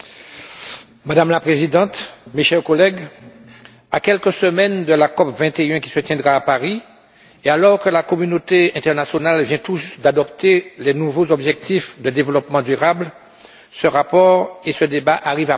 Madame la Présidente, mes chers collègues, à quelques semaines de la COP 21, qui se tiendra à Paris, et alors que la communauté internationale vient tout juste d'adopter les nouveaux objectifs de développement durable, ce rapport et ce débat arrivent à point nommé.